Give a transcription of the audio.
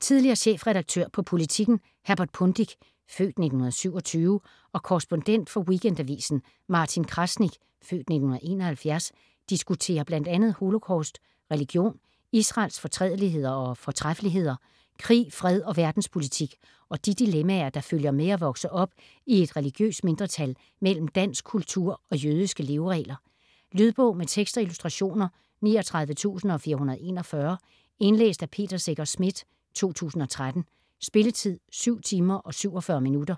Tidligere chefredaktør på Politiken, Herbert Pundik (f. 1927), og korrespondent for Weekendavisen, Martin Krasnik (f. 1971), diskuterer bl.a. holocaust, religion, Israels fortrædeligheder og fortræffeligheder, krig, fred og verdenspolitik - og de dilemmaer, der følger med at vokse op i et religiøst mindretal mellem dansk kultur og jødiske leveregler. Lydbog med tekst og illustrationer 39441 Indlæst af Peter Secher Schmidt, 2013. Spilletid: 7 timer, 47 minutter.